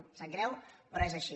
em sap greu però és així